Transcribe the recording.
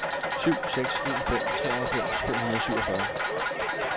syv seks en fem treoghalvfems fem hundrede og syvogfyrre